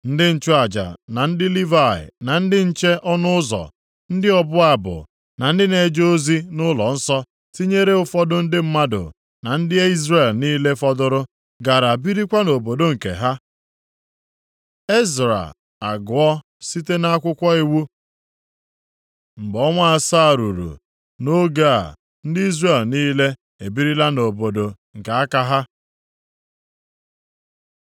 Ndị nchụaja, na ndị Livayị, na ndị nche ọnụ ụzọ, ndị ọbụ abụ na ndị na-eje ozi nʼụlọnsọ, tinyere ụfọdụ ndị mmadụ na ndị Izrel niile fọdụrụ, gara birikwa nʼobodo nke ha. Ezra agụọ site nʼakwụkwọ iwu Mgbe ọnwa asaa ruru, nʼoge a ndị Izrel niile e birila nʼobodo nke aka ha,